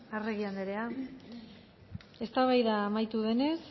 arregi andrea eztabaida amaitu denez